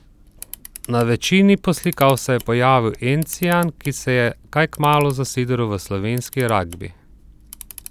Na večini poslikav se je pojavil encijan, ki se je kaj kmalu zasidral v slovenski ragbi.